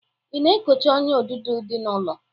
Ị na-ekocha ọ́nyà odudo dị n'ụlọ?